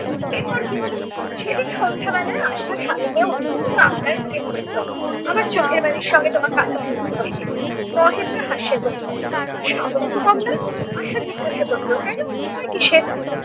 এরপর কি হলো? সেদিন সন্ধ্যা বেলা আশা স্বামীকে অত্যন্ত আবদার করিয়া ধরিল- আমার চোখের বালির সঙ্গে তোমাকে আলাপ করিতে হইবে। মহেন্দ্র হাসিয়া কহিল তোমার সাহস তো কম নয়? আশু জিজ্ঞাসা করিল কেন? ভয় কিসের?